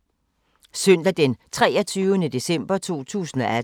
Søndag d. 23. december 2018